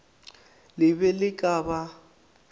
le be le ka ba